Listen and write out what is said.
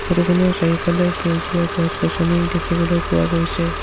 Photo খনৰ চাৰিওফালে সেউজীয়া গছ-গছনি দেখিবলৈ পোৱা গৈছে।